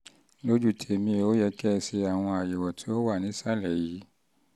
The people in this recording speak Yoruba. lójú tèmi ó yẹ um kẹ́ ẹ ṣe àwọn àyẹ̀wò tó wà nísàlẹ̀ yìí